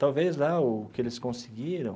Talvez lá o que eles conseguiram